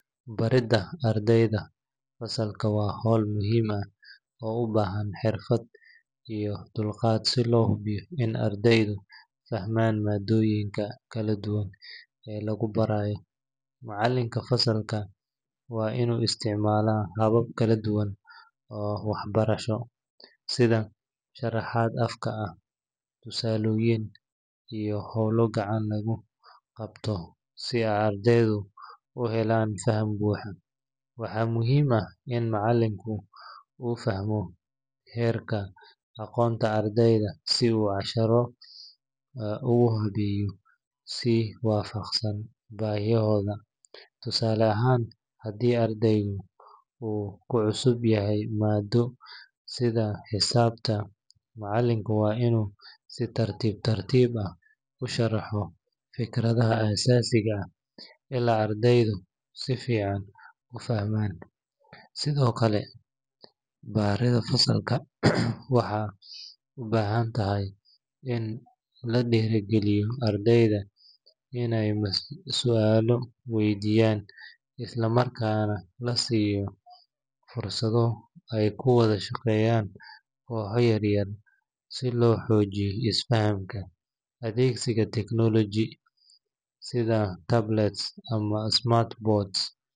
Baridda ardayda fasalka waa hawl muhiim ah oo u baahan xirfad iyo dulqaad si loo hubiyo in ardaydu fahmaan maaddooyinka kala duwan ee lagu barayo. Macalinka fasalka waa inuu isticmaalaa habab kala duwan oo waxbarasho, sida sharaxaad afka ah, tusaalooyin, iyo hawlo gacanta lagu qabto si ardaydu u helaan faham buuxa. Waxaa muhiim ah in macalinka uu fahmo heerka aqoonta ardayda, si uu casharada ugu habeeyo si waafaqsan baahiyahooda. Tusaale ahaan, haddii ardaygu uu ku cusub yahay maaddo sida xisaabta, macalinka waa inuu si tartiib tartiib ah u sharaxaa fikradaha aasaasiga ah ilaa ardaygu si fiican u fahmo. Sidoo kale, baridda fasalka waxay u baahan tahay in la dhiirrigeliyo ardayda inay su’aalo weydiiyaan, isla markaana la siiyo fursado ay ku wada shaqeeyaan kooxo yar yar si loo xoojiyo is-fahamka. Adeegsiga technology sida tablets ama smart boards.